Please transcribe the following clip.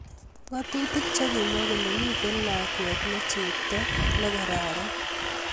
Ngatutik che kimwa kole miten lakwee ne chepto nfasta ne kararan.